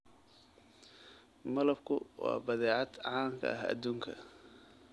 Malabku waa badeecad caan ka ah adduunka.